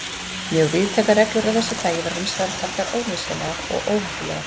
Mjög víðtækar reglur af þessu tagi voru hins vegar taldar ónauðsynlegar og óheppilegar.